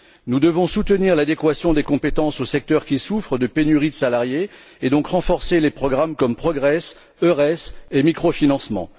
Nous devons soutenir l'adéquation des compétences aux secteurs qui souffrent de pénurie de salariés et, donc, renforcer les programmes comme Progress, Eures et l'instrument européen de microfinancement.